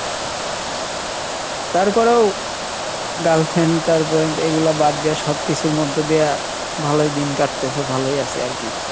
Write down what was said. তারপরেও girlfriend তার পর্যন্ত এইগুলা বাদ দিয়া সব কিছুর মধ্যে দিয়া ভালোই দিন কাটতেছে ভালোই আছি আরকি।